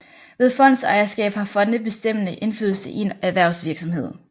Ved fondsejerskab har fonde bestemmende indflydelse i en erhvervsvirksomhed